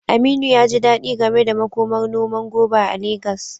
Aminu ya ji dadi game da makomar noman goba a Legas.